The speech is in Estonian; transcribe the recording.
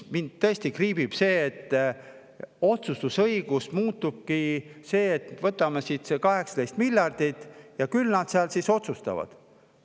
Mind tõesti see, et otsustusõigus muutubki nii, et võtame siit näiteks selle 18 miljardit ja küll nad seal siis otsustavad.